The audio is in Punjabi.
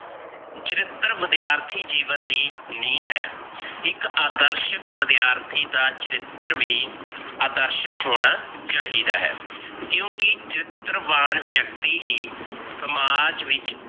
ਚਰਿਤਰ ਵਿਦਿਆਰਥੀ ਜੀਵਨ ਦੀ ਨੀਂਹ ਹੈ, ਇਕ ਆਦਰਸ਼ਕ ਵਿਦਿਆਰਥੀ ਦਾ ਚਰਿਤਰ ਵੀ ਆਦਰਸ਼ਕ ਹੋਣਾ ਚਾਹੀਦਾ ਹੈ। ਕਿਉਕਿ ਚਰਿਤਰਵਾਨ ਵਿਅਕਤੀ ਹੀ ਸਮਾਜ ਵਿੱਚ